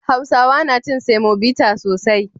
Hausawa na cin semobita sosai.